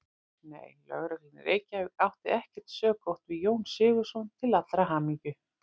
Nei, Lögreglan í Reykjavík átti ekkert sökótt við Jón Sigurðsson til allrar hamingju.